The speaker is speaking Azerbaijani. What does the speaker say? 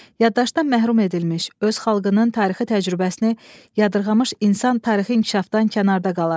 Yaddaşdan məhrum edilmiş, öz xalqının tarixi təcrübəsini yadırmış insan tarixi inkişafdan kənarda qalar.